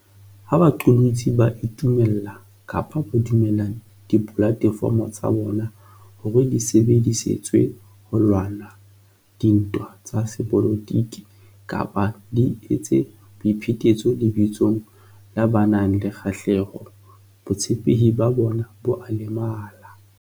Ha baqolotsi ba itumella kapa ba dumella dipolate fomo tsa bona hore di sebedi setswe ho lwana dintwa tsa sepolotiki kapa di etse boi phetetso lebitsong la ba nang le kgahleho, botshepehi ba bona bo a lemala.